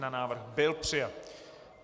Návrh byl přijat.